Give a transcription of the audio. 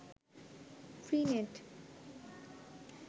free net